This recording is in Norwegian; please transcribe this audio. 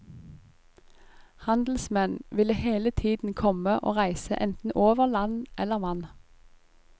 Handelsmenn ville hele tiden komme og reise enten over land eller vann.